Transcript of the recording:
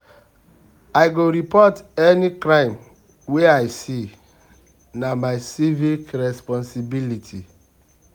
I go dey report any crime wey I see, na my civic responsibility.